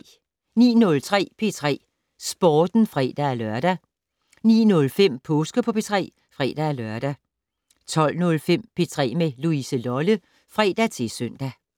09:03: P3 Sporten (fre-lør) 09:05: Påske på P3 (fre-lør) 12:05: P3 med Louise Lolle (fre-søn)